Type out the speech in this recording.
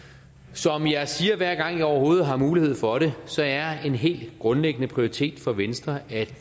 som jeg siger hver gang jeg overhovedet har mulighed for det så er en helt grundlæggende prioritet for venstre at